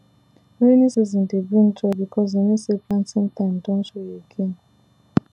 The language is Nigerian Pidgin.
rainy season dey bring joy because e mean say planting time don show again